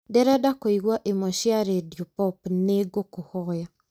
ndĩrenda kũigua imwe cia rĩndiũ pop nĩ ngũkũhoya